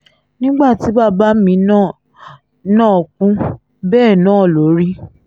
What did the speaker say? nígbà tí bàbá mi náà náà kú bẹ́ẹ̀ náà ló rí